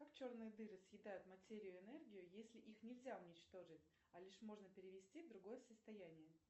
как черные дыры съедают материю и энергию если их нельзя уничтожить а лишь можно перевести в другое состояние